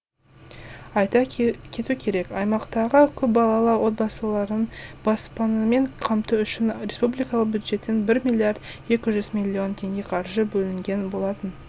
айта кету керек аймақтағы көпбалалы отбасыларын баспанамен қамту үшін республикалық бюджеттен бір миллиард екі жүз миллион теңге қаржы бөлінген болатын